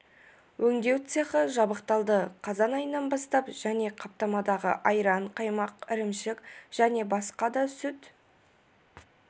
өңдеу цехі жабдықталды қазан айынан бастап және қаптамадағы айран қаймақ ірімшік және басқа да сүт